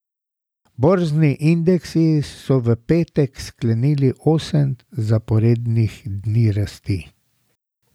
Borzni indeksi so v petek sklenili osem zaporednih dni rasti.